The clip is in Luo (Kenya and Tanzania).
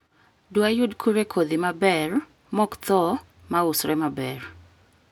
Dwayud kure kodhi maber mokthoo mausre maber?